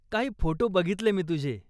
काही फोटो बघितले मी तुझे.